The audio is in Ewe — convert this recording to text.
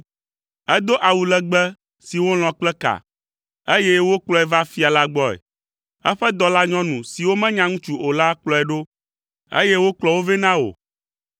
Edo awu legbe si wolɔ̃ kple ka, eye wokplɔe va fia la gbɔe; eƒe dɔlanyɔnu siwo menya ŋutsu o la kplɔe ɖo, eye wokplɔ wo vɛ na wò.